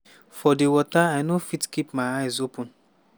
for di water i no fit keep my eyes open.